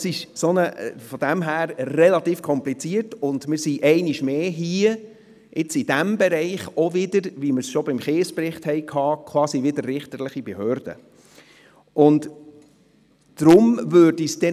Es ist also eine relativ komplizierte Sache, und wir sind hier einmal mehr quasi richterliche Behörde, wie schon beim Bericht der Finanzkontrolle zur Sonderprüfung über das Kies- und Deponiewesen.